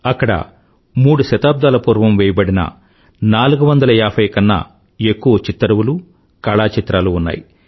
అక్కడ మూడు శతాబ్దాల పూర్వం వేయబడిన 450 కన్నాఎక్కువ చిత్తరువులు కళాచిత్రాలు ఉన్నాయి